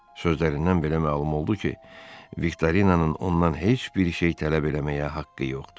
Sözlərindən belə məlum oldu ki, Viktorinanın ondan heç bir şey tələb eləməyə haqqı yoxdur.